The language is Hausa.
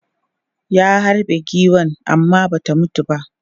Ya harbe giwan amma ba ta mutu ba.